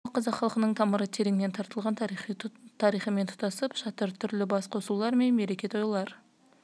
қазақ күресінің дамуы қазақ халқының тамыры тереңнен тартылатын тарихымен тұтасып жатыр түрлі бас қосулар мен мереке-тойлар